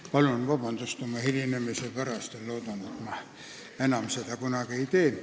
Ma palun vabandust oma hilinemise pärast ja loodan, et seda enam kunagi ei juhtu!